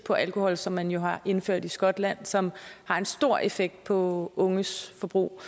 på alkohol som man jo har indført i skotland og som har en stor effekt på unges forbrug